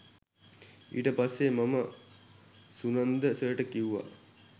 ඊට පස්සේ මම සුනන්ද සර්ට කිව්වා